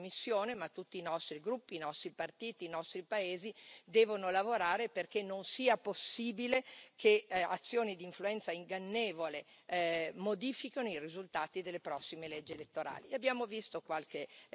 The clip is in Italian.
Su questo, non solo la Commissione ma tutti i nostri gruppi, i nostri partiti e i nostri paesi devono lavorare perché non sia possibile che azioni di influenza ingannevole modifichino i risultati delle prossime leggi elettorali.